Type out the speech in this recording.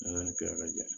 N'a kɛla ka jɛ